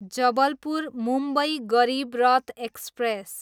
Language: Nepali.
जबलपुर, मुम्बई गरिबरथ एक्सप्रेस